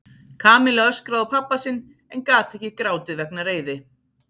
Kamilla öskraði á pabba sinn en gat ekki grátið vegna reiði.